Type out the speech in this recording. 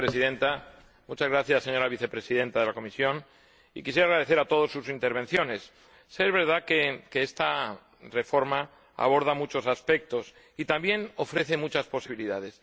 Señora Presidenta, señora Vicepresidenta de la Comisión, quisiera agradecer a todos sus intervenciones. Sí es verdad que esta reforma aborda muchos aspectos y también ofrece muchas posibilidades.